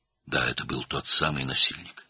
Bəli, bu həmin təcavüzkar idi.